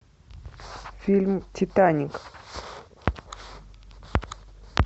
фильм титаник